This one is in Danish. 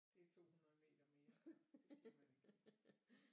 Det 200 meter mere så det gider man ikke